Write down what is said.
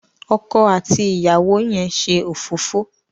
ọkọ àti ìyàwó yén ṣe òfófó.